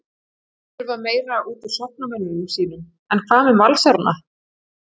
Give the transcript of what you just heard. Þurfa meira útúr sóknarmönnum sínum En hvað með Valsarana?